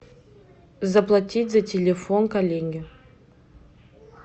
заплатить за телефон коллеге